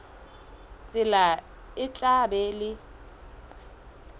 tsela e tla ba le